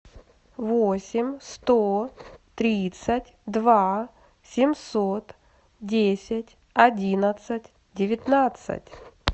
восемь сто тридцать два семьсот десять одиннадцать девятнадцать